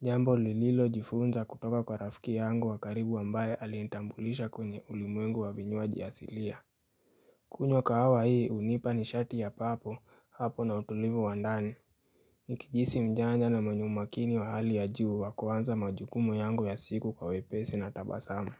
Jambo lililo jifunza kutoka kwa rafiki yangu wakaribu ambaye alinitambulisha kwenye ulimwengu wavinywaji asilia kunywa kawa hii hunipa ni shati ya papo hapo na utulivu wandani Nikijihisi mjanja na mwenye umakini wa hali ya juu wakuanza majukumu yangu ya siku kwa wepesi na tabasama.